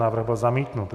Návrh byl zamítnut.